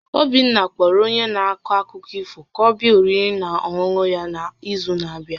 Obinna kpọrọ onye na-akọ akụkọ ifo ka ọ bịa oriri na ọṅụṅụ ya n'izu na-abịa